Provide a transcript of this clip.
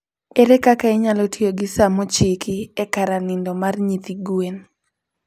Ere kaka inyalo tiyo gi sa mochiki e kara nindo mar nyithi gwen?